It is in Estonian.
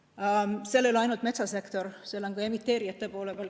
Ja seal ei ole ainult metsasektor, seal on ka emiteerijad.